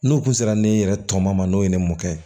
N'u kun sera ne yɛrɛ tɔ ma n'o ye ne mɔkɛ